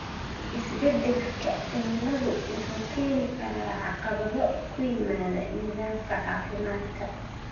Isbedelka cimiladu wuxuu keeni karaa caqabado ku yimaada nidaamka caafimaadka.